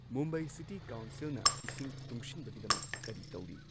Mumbai city ꯀꯥꯎꯟꯁꯤꯜꯅ ꯏꯁꯤꯡ ꯇꯨꯡꯁꯤꯟꯕꯒꯤꯗꯃꯛ ꯀꯔꯤ ꯇꯩꯔꯤ?